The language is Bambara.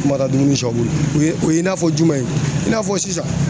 o ye o ye i n'a fɔ jumɛn ye i n'a fɔ sisan